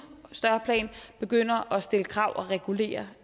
større plan begynder at stille krav og regulere